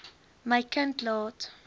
my kind laat